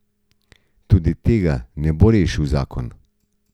Tudi tega ne bo rešil zakon.